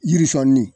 Yirisunni